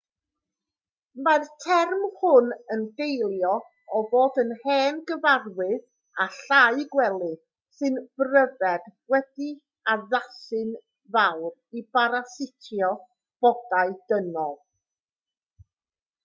mae'r term hwn yn deillio o fod yn hen gyfarwydd â llau gwely sy'n bryfed wedi'u haddasu'n fawr i barasitio bodau dynol